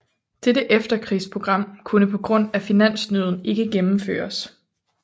Dette efterkrigsprogram kunne på grund af finansnøden ikke gennemføres